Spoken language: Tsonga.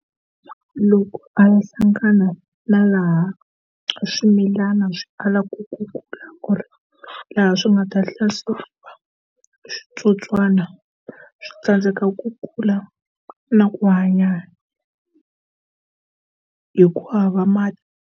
Loko a va hlangana na laha swimilana swi alaka ku kula ku ri laha swi nga ta hlaseriwa hi switsotswana swi tsandzeka ku kula na ku hanya hi ku hava mati.